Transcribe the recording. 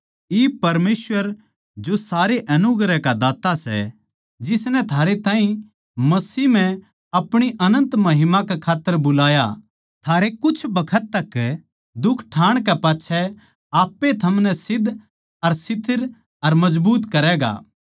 इब परमेसवर जो सारे अनुग्रह का दात्ता सै जिसनै थारै ताहीं मसीह म्ह अपणी अनन्त महिमा कै खात्तर बुलाया थारै कुछ बखत तक दुख ठाण कै पाच्छै आप ए थमनै सिध्द अर स्थिर अर मजबूत करैगा